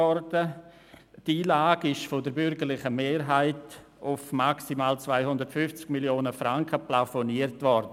Die Einlage ist von der bürgerlichen Mehrheit auf maximal 250 Mio. Franken plafoniert worden.